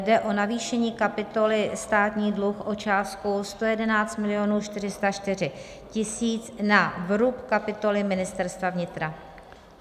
Jde o navýšení kapitoly Státní dluh o částku 111 404 000 na vrub kapitoly Ministerstva vnitra.